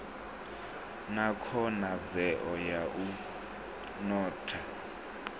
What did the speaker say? na khonadzeo ya u notha